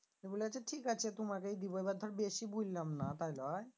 তো বলেছে ঠিক আছে তোমাকেই দিব এবার ধর বেশি বুললাম না তাই লই?